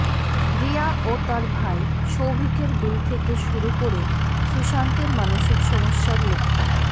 রিয়া ও তাঁর ভাই শৌভিকের বিল থেকে শুরু করে সুশান্তের মানসিক সমস্যার লক্ষণ